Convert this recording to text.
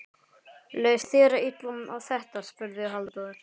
Leist þér illa á þetta? spurði Halldór.